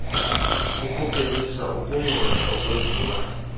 ukuphelisa ukungcola okwenziwa